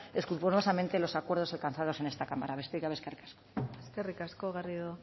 escrupulosamente los acuerdos alcanzados en esta cámara besterik gabe eskerrik asko eskerrik asko garrido